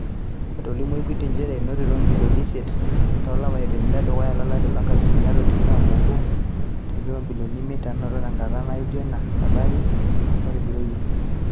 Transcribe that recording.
Etolimuo Equity nchere, enotito imbilioni isiet to lapaitin le dukuya lo lari lo nkalifuni are o tikitam o obo teingr o imbilioni imiet naanoto tenkata naijo ina o lari otigiroyie